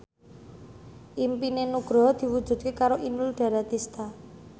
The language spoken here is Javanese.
impine Nugroho diwujudke karo Inul Daratista